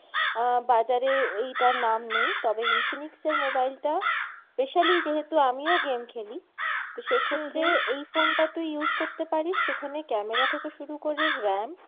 আহ বাজারে এইটার নাম নেই তবে Infinix এর mobile টা specially যেহেতু আমিও game খেলি তো সেই ক্ষেত্রে এই phone টা তুই use করতে পারিস সেখানে camera থেকে শুরু করে RAM